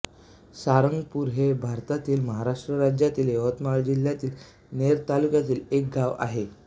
सारंगपूर हे भारतातील महाराष्ट्र राज्यातील यवतमाळ जिल्ह्यातील नेर तालुक्यातील एक गाव आहे